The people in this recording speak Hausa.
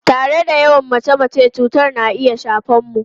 Tare da yawan mace-mace, cutar na iya shafe mu.